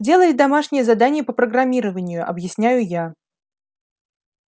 делает домашнее задание по программированию объясняю я